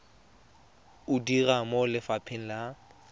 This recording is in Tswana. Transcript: o dira mo lefapheng la